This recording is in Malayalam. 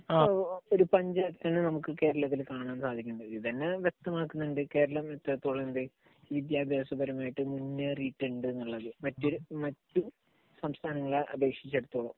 ഒരു ഡിഫറൻറ് കൾച്ചർ ആണ് നമുക്ക് കേരളത്തിൽ കാണാൻ സാധിക്കുന്നത്. ഇതുതന്നെ വ്യക്തമാക്കുന്നുണ്ട് കേരളം എത്രത്തോളം കണ്ട് വിദ്യാഭ്യാസപരമായിട്ട് മുന്നേറിയിട്ടുണ്ട് എന്നുള്ളത്. മറ്റു സംസ്ഥാനങ്ങളെ അപേക്ഷിച്ച് എപ്പോഴും